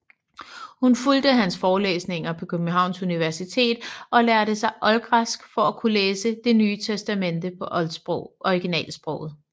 Hun fulgte hans forelæsninger på Københavns Universitet og lærte sig oldgræsk for at kunne læse Det Nye Testamente på originalsproget